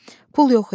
Pul yox idi.